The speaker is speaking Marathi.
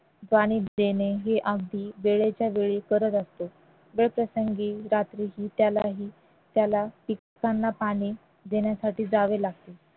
देणे हे अगदी वेळच्यावेळी करत असते वेळप्रसंगी रात्री त्यालाही त्याला पिकांना पाणी देण्यासाठी जावे लागते